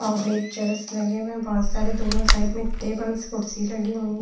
और एक चेयर्स लगे हुए है बहोत सारे दोनों साइड मे टेबल्स कुर्सी लगी हुई है।